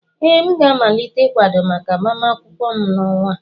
Ee, m ga-amalite ịkwado maka agbamakwụkwọ m n'ọnwa a